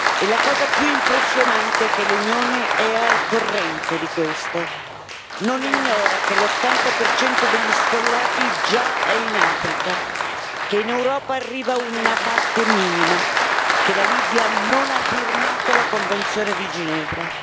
E la cosa più impressionante è che l'Unione è al corrente di questo non ignora che l'80 degli sfollati già è in Africa, che in Europa arriva una parte minima, che la Libia non ha firmato la convenzione di Ginevra.